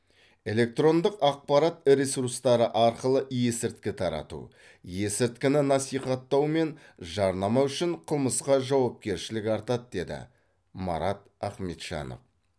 электрондық ақпарат ресурстары арқылы есірткі тарату есірткіні насихаттау мен жарнама үшін қылмысқа жауапкершілік артады деді марат ахметжанов